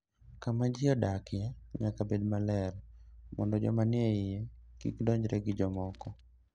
Kama ji dakie nyaka bed maler mondo joma nie iye kik donjre gi jomoko.